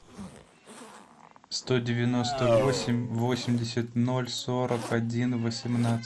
сто девяносто восемь восемьдесят ноль сорок один восемнадцать